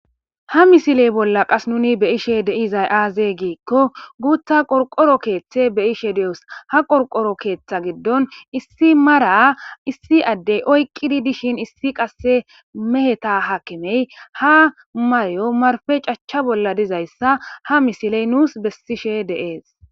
Ha misiley bolla qas nuni beyishe deizay aaze giikko guutha qorqoro keeththe beyishe de7os ha qorqoro keeththa giddon issi mara issi addey oyqqidi dishin issi qasse meheta hakimey ha maryo marfe cachcha bolla dizayssa ha misiley nuus bessishe dees